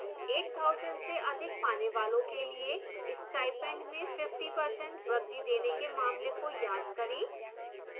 8000 रूपये से अधिक पाने वालों के लिए स्टाइपेंड में 50% वृद्धि देने के मामले को याद करें